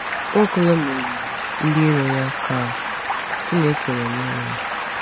Nwaokolo merụrụ ndị iro ya ka Chineke nọnyere ya.